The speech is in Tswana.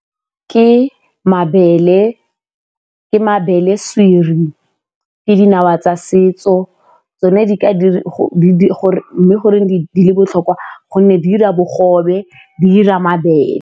Ke mabele siri, ke dinawa tsa setso mme goreng di le botlhokwa? Gonne di dira bogobe, di dira mabele.